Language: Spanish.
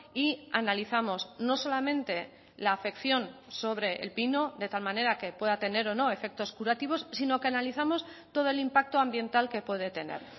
y analizamos no solamente la afección sobre el pino de tal manera que pueda tener o no efectos curativos sino que analizamos todo el impacto ambiental que puede tener